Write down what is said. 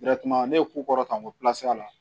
ne ye ko kɔrɔta ko